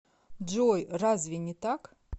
джой разве не так